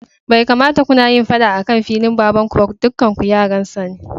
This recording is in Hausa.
Bai kamata kunayin faɗa akan filin baban kuba dukanku yaransa ne.